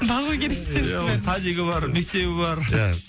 бағу керек десеңізші бәрін иә оның садигі бар мектебі бар иә